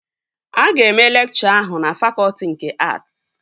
Aga eme lekchọ ahụ na fakọtị nke att?